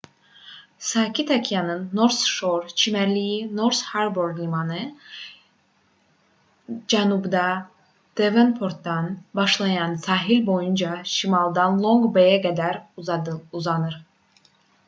sakit okeanın north shore çimərlikləri north harbour limanı cənubda devonportdan başlayaraq sahil boyunca şimalda long bay"ə qədər uzanır